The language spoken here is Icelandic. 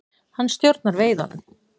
Hann stjórnar veiðunum.